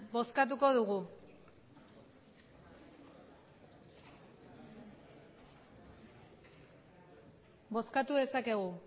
bozkatuko dugu bozkatu dezakegu